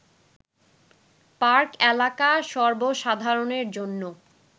park এলাকা সর্ব সাধারণের জন্য